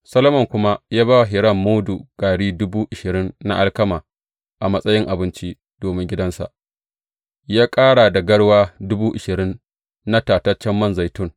Solomon kuma ya ba wa Hiram mudu gari dubu ashirin na alkama a matsayin abinci domin gidansa, ya ƙara da garwa dubu ashirin na tataccen man zaitun.